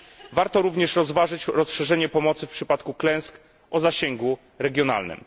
Warto również rozważyć rozszerzenie pomocy w przypadku klęsk o zasięgu regionalnym.